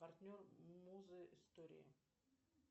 партнер музы истории